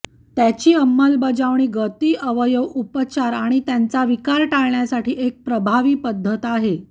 त्याची अंमलबजावणी गती अवयव उपचार आणि त्यांच्या विकार टाळण्यासाठी एक प्रभावी पद्धत आहे